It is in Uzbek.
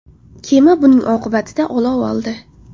Kema buning oqibatida olov oldi.